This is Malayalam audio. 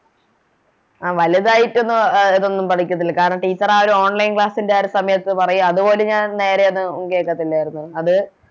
ആ വലുതായിട്ടൊന്നും അഹ് ഇതൊന്നും പഠിക്കത്തില്ല കാരണം Teacher ആരും Online class ൻറെ ആ ഒരു സമയത്ത് പറയും അത് പോലും ഞാൻ നേരെയൊന്നും കേക്കത്തില്ലരുന്ന് അത്